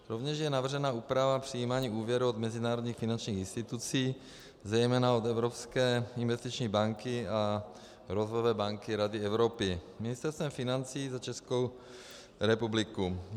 Rovněž je navržena úprava přijímání úvěrů od mezinárodních finančních institucí, zejména od Evropské investiční banky a Rozvojové banky Rady Evropy Ministerstvem financí za Českou republiku.